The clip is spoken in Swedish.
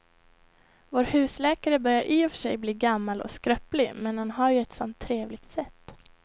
Vår husläkare börjar i och för sig bli gammal och skröplig, men han har ju ett sådant trevligt sätt!